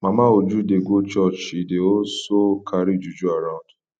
mama uju dey go church she dey also carry juju around